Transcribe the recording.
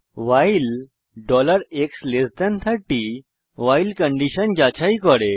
ভাইল x30 while condition যাচাই করে